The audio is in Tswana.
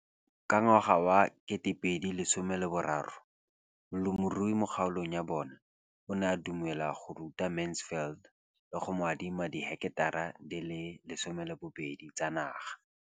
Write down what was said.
Ka ngwaga wa 2013, molemirui mo kgaolong ya bona o ne a dumela go ruta Mansfield le go mo adima di heketara di le 12 tsa naga.